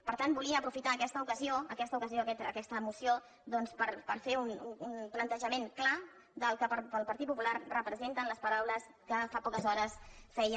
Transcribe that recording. per tant volia aprofitar aquesta ocasió aquesta ocasió d’aquesta moció per fer un plantejament clar del que pel partit popular re·presenten les paraules que fa poques hores feia